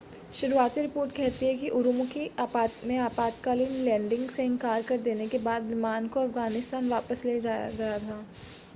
शुरुआती रिपोर्ट कहती है कि उरूमकी में आपातकालीन लैंडिंग से इनकार कर देने के बाद विमान को अफ़गानिस्तान वापस ले जाया गया था